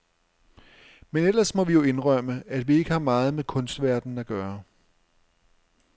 Men ellers må vi jo indrømme, at vi ikke har meget med kunstverdenen at gøre.